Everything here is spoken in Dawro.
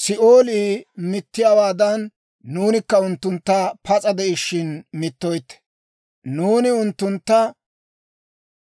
Si'oolii mittiyaawaadan, nuunikka unttuntta pas'a de'ishiina mittoytte; nuuni unttuntta